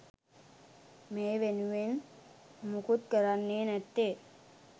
මේ වෙනුවෙන් මුකුත් කරන්නේ නැත්තේ?